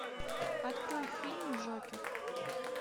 открой фильм джокер